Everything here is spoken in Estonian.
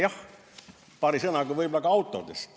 Jah, paari sõnaga võib-olla ka autodest.